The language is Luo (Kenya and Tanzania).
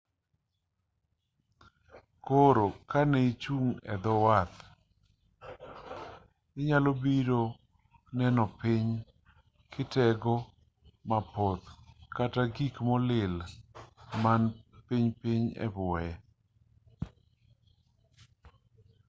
koro kaneichung' edho wath inyalobiro neno piny kite-go mapoth kata gik molil man pinypiny ebwoye